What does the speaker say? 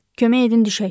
Kömək edin, düşək.